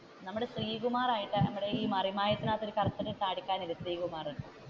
നമ്മളുടെ ശ്രീകുമാർ നമ്മുടെ മറിമായത്തിൽ കറുത്തിട്ടു ഒരു താടിക്കാരനില്ലേ ശ്രീകുമാർ,